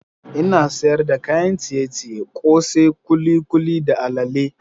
Ina sayar da kayan ciye-ciye, kose, kulikuli da allale.